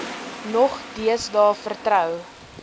nog deesdae vertrou